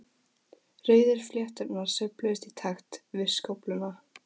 Rauðu flétturnar sveifluðust í takt við skófluna.